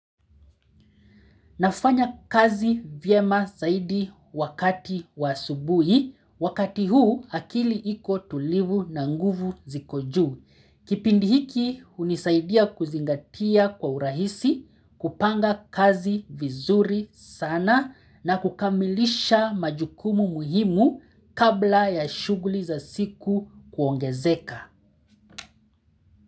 Nafanya kazi vyema saidi wakati wa asubuhi, wakati huu akili iko tulivu na nguvu ziko juu. Kipindi hiki unisaidia kuzingatia kwa urahisi, kupanga kazi vizuri sana na kukamilisha majukumu muhimu kabla ya shuguli za siku kuongezeka.